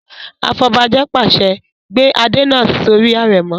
Afọbajẹ pàṣẹ "gbé Adé náà sórí àrẹ̀mọ!"